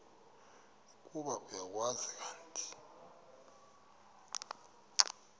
ukuba uyakwazi kanti